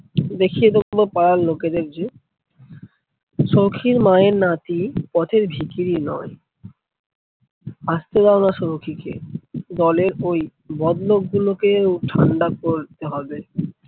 দেখিয়ে দেবো পাড়ার লোকেদের যে সৌখীর মায়ের নাতি পথের ভিকিরি নয়। আসতে দাওনা সৌখীকে দলের ওই বদ লোক গুলোকেও ঠান্ডা করতে হবে।